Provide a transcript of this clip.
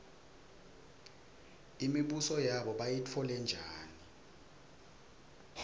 imibuso yabo bayitfole njani